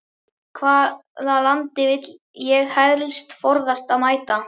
Hvaða landi vil ég helst forðast að mæta?